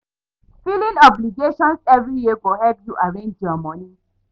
Filing obligations evri year go help yu arrange yur moni